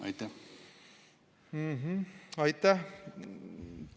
Aitäh!